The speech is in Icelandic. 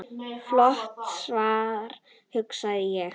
Flott svar, hugsa ég.